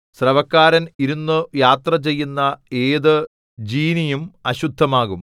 സ്രവക്കാരൻ ഇരുന്നു യാത്രചെയ്യുന്ന ഏതു ജീനിയും അശുദ്ധമാകും